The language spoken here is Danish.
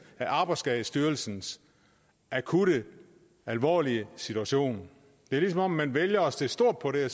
af arbejdsskadestyrelsens akutte alvorlige situation det er som om man vælger at se stort på det